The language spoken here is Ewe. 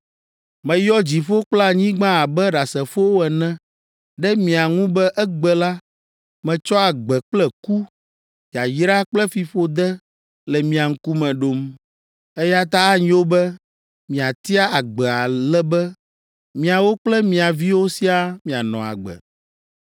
“Meyɔ dziƒo kple anyigba abe ɖasefowo ene ɖe mia ŋu be egbe la, metsɔ agbe kple ku, yayra kple fiƒode le mia ŋkume ɖom, eya ta anyo be miatia agbe ale be miawo kple mia viwo siaa mianɔ agbe!